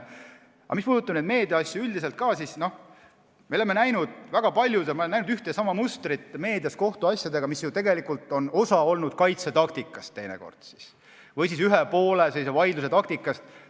Aga mis puudutab meediaasju üldiselt, siis me oleme näinud väga palju ühte ja sama mustrit meedias kohtuasjade kajastamisel, mis on teinekord olnud osa kaitsetaktikast või ühe poole vaidlustaktikast.